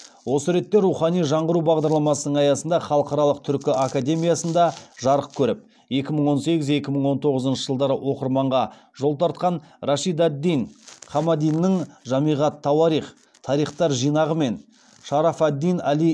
осы ретте рухани жаңғыру бағдарламасының аясында халықаралық түркі академиясында жарық көріп екі мың он сегіз екі мың он тоғызыншы жылдары оқырманға жол тартқан рашид ад дин хамадиннің жамиғ ат тауарих мен шараф ад дин али